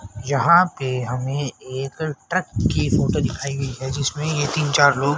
यहां पे हमे एक ट्रक की फोटो दिखाई गई है जिसमें ये तीन चार लोग--